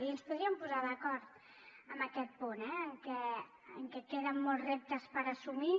i ens podríem posar d’acord en aquest punt eh en que queden molts reptes per assumir